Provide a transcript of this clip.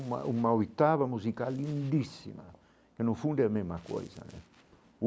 Uma uma oitava musical lindíssima, que no fundo é a mesma coisa né